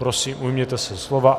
Prosím, ujměte se slova.